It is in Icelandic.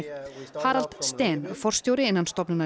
Harald forstjóri innan stofnunarinnar